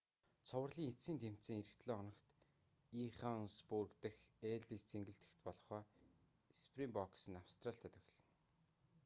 цувралын эцсийн тэмцээн ирэх долоо хоногт иоханнесбург дахь эллис цэнгэлдэхэд болох ба спринбокс нь австралитай тоглоно